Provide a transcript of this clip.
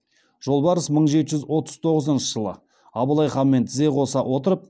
жолбарыс мың жеті жүз отыз тоғызыншы жылы абылай ханмен тізе қоса отырып